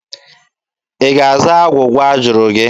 Ị ga-aza agwụgwa a jụrụ gị?